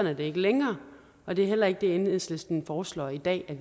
er det ikke længere og det er heller ikke det enhedslisten foreslår i dag at